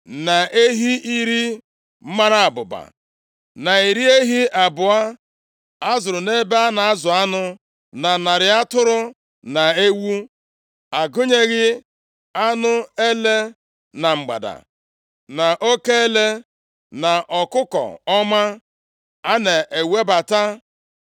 na ehi iri mara abụba, na iri ehi abụọ a zụrụ nʼebe a na-azụ anụ, na narị atụrụ na ewu. A gụnyeghị anụ ele na mgbada na oke ele na ọkụkọ ọma + 4:23 Ya bụ, ụgbala mmiri a na-ewebata.